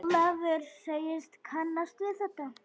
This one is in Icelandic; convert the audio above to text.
Ólafur segist kannast við þetta.